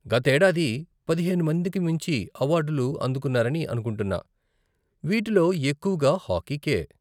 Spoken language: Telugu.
గతేడాది పదిహేను మందికి మించి అవార్డులు అందుకున్నారని అనుకుంటున్నా, వీటిలో ఎక్కువగా హాకీ కే.